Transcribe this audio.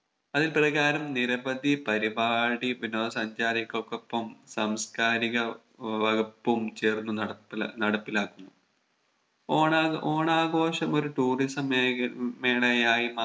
അതിൽ പ്രകാരം നിരവധി പരിപാടി വിനോദ സഞ്ചാരികൾക്കൊപ്പം സാംസ്‌കാരിക വ വകുപ്പും ചേർന്ന് നടപ്പി നടപ്പിലാക്കുന്നു ഓണാഘോ ഓണാഘോഷം ഒരു Tourism മേഖല ഉം മേളയായി